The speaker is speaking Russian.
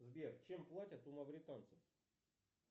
сбер чем платят у мавританцев